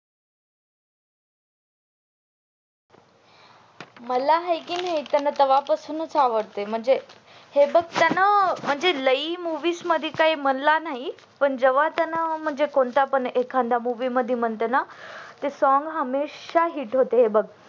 मला हाय का नाही तेव्हा पासूनच आवडतय म्हणजे हे लई मूवीज मध्ये काही म्हणला नाही पण जेवह्या त्याने म्हणजे कोणता पण movie मध्ये म्हणते ना ते song हमेशा hit होते बघ